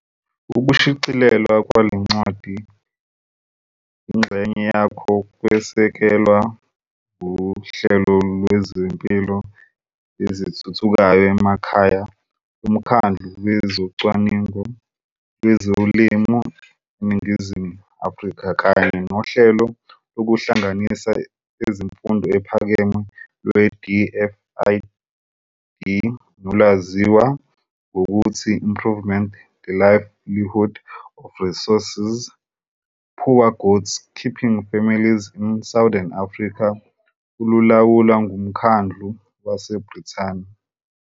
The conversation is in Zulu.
Ukushicilelwa kwale ncwadi, ingxenye yakho kwesekelwa nguHlelo lweziMpilo eziThuthukayo emaKhaya loMkhandlu wezoCwaningo lwezoLimo eNingizimu Afrika kanye nohlelo lokuhlanganisa ezeMfundo ePhakeme lweDFID nolwazizwa ngokuthi Improving the livelihood of resource-poor goat keeping families in southern Africa, olulawulwa nguMkhandlu waseBrithani.